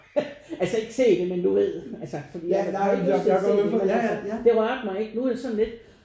Altså ikke se det men du ved altså fordi jeg havde jo ikke lyst til at se det men altså det ragte mig ikke noget